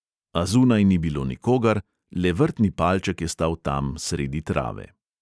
A zunaj ni bilo nikogar, le vrtni palček je stal tam sredi trave.